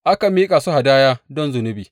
Aka miƙa su hadaya don zunubi.